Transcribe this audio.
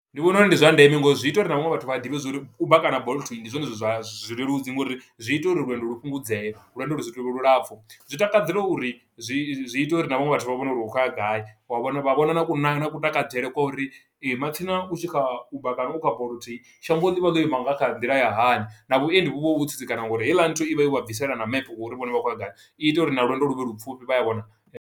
Ndi vhona uri ndi zwa ndeme ngo uri zwi ita uri na vhaṅwe vhathu vha ḓivhe zwo uri Uber kana Bolt ndi zwone zwithu zwa zwileludzi, ngo uri zwi ita uri lwendo lu fhungudzee, lwendo lu si tu vha lulapfu. Zwi takadzela uri, zwi i zwi ita uri na vhaṅwe vhathu vha vhone uri u khou ya gai, wa vhona vha vhona na ku na, na kutakadzele kwa uri ee, matsina u kha Uber kana kha Bolt shango ḽi vha ḽo ima nga nḓila ya hani, na vhuendi vhu vha vho tsitsikana nga uri heiḽa nthu i vha yo vha bvisela na mepe wa uri vhone vha khou ya gai. I ita uri na lwendo lu vhe lu pfufhi, vha ya vhona.